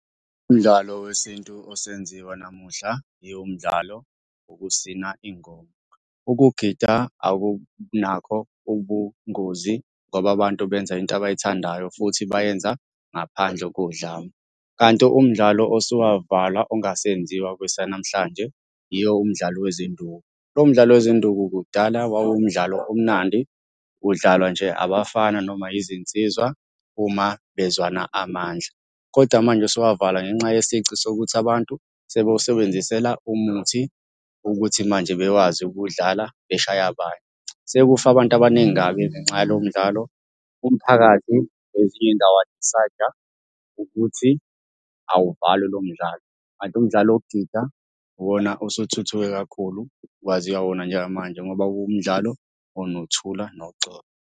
Umdlalo wesintu osenziwa namuhla yiwo umdlalo wokusina ingoma. Ukugida akunakho ubungozi ngoba abantu benza into abayithandayo futhi bayenza ngaphandle kodlame, kanti umdlalo osuwavalwa ongasenziwa kwesanamhlanje yiwo umdlalo wezinduku. Lowo mdlalo wezinduku kudala wawumdlalo omnandi, udlalwa nje abafana noma yizinsizwa uma bezwana amandla, koda manje usuwavalwa ngenxa yesici sokuthi abantu sebewusebenzisela umuthi ukuthi manje bewazi ukuwudlala beshaye abanye. Sekufe abantu abaningi kabi ngenxa yalowo mdlalo, umphakathi kwezinye iy'ndawo wa-decide-a ukuthi awuvalwe lomdlalo, kanti umdlalo wokugida uwona osuthuthuke kakhulu, kwaziwa wona njengamanje ngoba kuwumdlalo onokuthula noxolo.